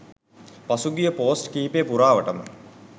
පසුගිය පෝස්ට් කිහිපය පුරාවටම